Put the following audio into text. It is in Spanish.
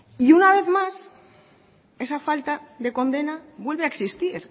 y una vez más esa falta de condena vuelve a existir